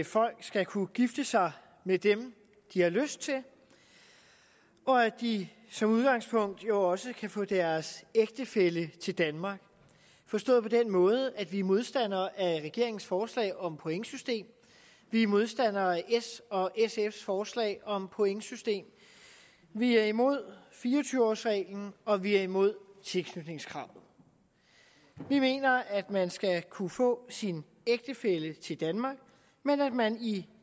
folk skal kunne gifte sig med dem de har lyst til og at de som udgangspunkt jo også kan få deres ægtefælle til danmark forstået på den måde at vi er modstandere af regeringens forslag om pointsystem vi er modstandere af s og sfs forslag om pointsystem vi er imod fire og tyve års reglen og vi er imod tilknytningskravet vi mener at man skal kunne få sin ægtefælle til danmark men at man i